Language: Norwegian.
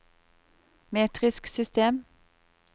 metrisk system